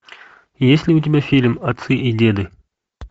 есть ли у тебя фильм отцы и деды